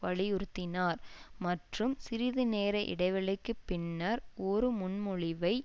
வலியுறுத்தினார் மற்றும் சிறிது நேர இடைவெளிக்கு பின்னர் ஒரு முன்மொழிவை